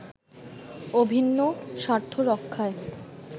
অভিন্ন স্বার্থ রক্ষায়